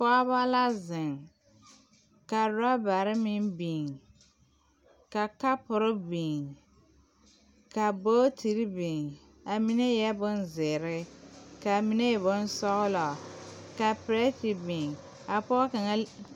Pɔgeba la zeŋ ka rɔbare meŋ biŋ ka kapore biŋ ka buutiri biŋ a mine e la boŋ zeere ka a mine e boŋ sɔglɔ ka pɛrɛte biŋ a pɔge kaŋa.